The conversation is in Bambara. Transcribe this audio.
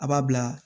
A b'a bila